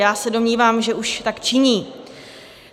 Já se domnívám, že už tak činí.